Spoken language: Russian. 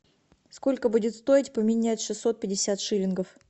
сколько будет стоить поменять шестьсот пятьдесят шиллингов